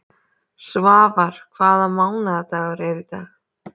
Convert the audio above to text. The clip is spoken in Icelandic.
Svafar, hvaða mánaðardagur er í dag?